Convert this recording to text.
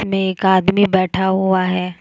एक आदमी बैठा हुआ है।